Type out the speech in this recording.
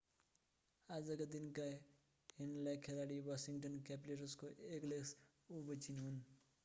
आजका दिनका हेर्नलायक खेलाडी वाशिङ्गटन क्यापिटल्सको एलेक्स ओभेचिन हुन्